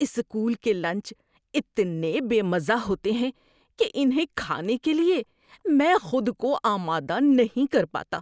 School کے lunch اتنے بے مزہ ہوتے ہیں کہ انہیں کھانے کے لیے میں خود کو آمادہ نہیں کر پاتا۔